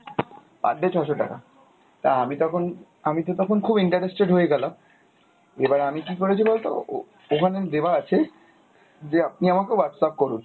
per day ছ'শো টাকা, তা আমি তখন আমিতো তখন খুব interested হয়ে গেলাম। এবার আমি কী করেছি বলতো? ও~ ওখানে দেওয়া আছে যে আপনি আমাকে Whatsapp করুন।